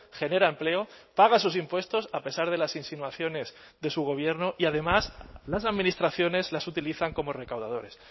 genera empleo paga sus impuestos a pesar de las insinuaciones de su gobierno y además las administraciones las utilizan como recaudadores